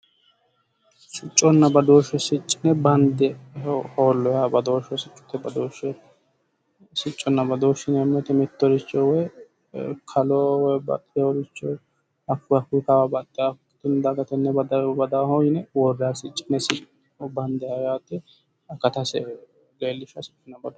Sicconna badooshshesi yineemmo woyte mittoricho kalo woy hakkuyi Kawa badaaho yine worrannoho yaate